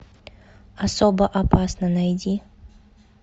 особо опасна найди